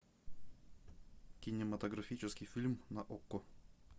кинематографический фильм на окко